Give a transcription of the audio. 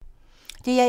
DR1